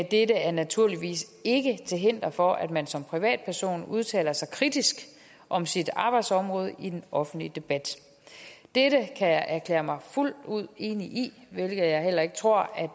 dette er naturligvis ikke til hinder for at man som privatperson udtaler sig kritisk om sit arbejdsområde i den offentlige debat dette kan jeg erklære mig fuldt ud enig i hvilket jeg heller ikke tror